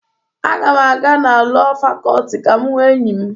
Aga m aga na Lọọ Fakọlti ka m hụ enyi m.